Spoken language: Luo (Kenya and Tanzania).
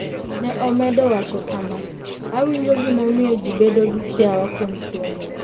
Ne omedo wacho kama: ''Awinjo gimomiyo ji bedo gi kiawa kuom tuo ni.